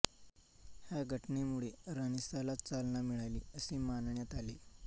ह्या घटनेमुळे रानिसांला चालना मिळाली असे मानण्यात येते